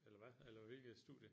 Eller hvad eller hvilket studie?